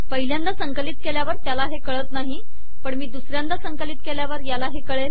पहिल्यांदा संकलित केल्यावर त्याला हे कळत नाही पण मी दुसऱ्यांदा संकलित केल्यावर याला हे कळेल